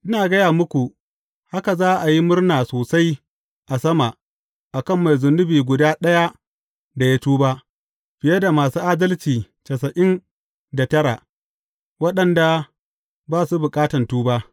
Ina gaya muku, haka za a yi murna sosai a sama, a kan mai zunubi guda ɗaya da ya tuba, fiye da masu adalci tasa’in da tara, waɗanda ba su bukatan tuba.